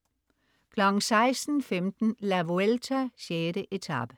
16.15 La Vuelta: 6. etape,